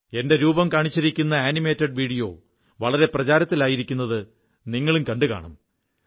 എന്റെ animated video വളരെ പ്രചാരത്തിലായിരിക്കുന്നത് നിങ്ങളും കണ്ടുകാണും